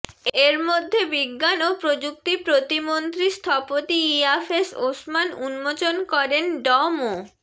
এর মধ্যে বিজ্ঞান ও প্রযুক্তি প্রতিমন্ত্রী স্থপতি ইয়াফেস ওসমান উন্মোচন করেন ড মো